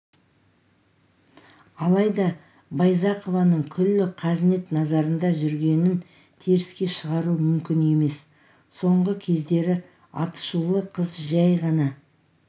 алайда байзақованың күллі қазнет назарында жүргенін теріске шығару мүмкін емес соңғы кездері атышулы қыз жәй ғана